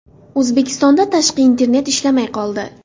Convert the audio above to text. O‘zbekistonda tashqi internet ishlamay qoldi.